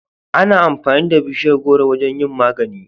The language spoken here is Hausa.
Ana amfani da bishiyar gworo wajen yin magani